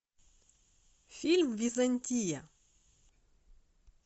фильм византия